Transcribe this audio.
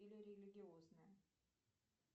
или религиозная